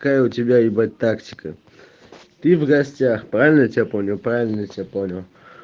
какая у тебя ебать тактика ты в гостях правильно я тебя понял правильно я тебя понял